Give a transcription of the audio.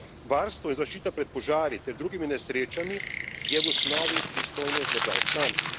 Varstvo in zaščita pred požari ter drugimi nesrečami je v osnovi pristojnost držav članic.